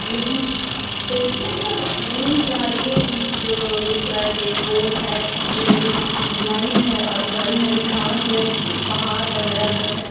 यहाँ पे ट्रेन जा रही है जिस जो दिख रहा है की एक पोल है रेलवेस लाइन है और हरी-हरी घास है पहाड़ वगेरा सब है।